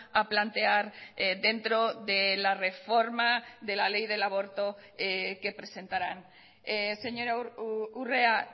a plantear dentro de la reforma de la ley del aborto que presentarán señora urrea